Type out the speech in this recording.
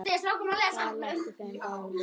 Það létti þeim báðum lífið.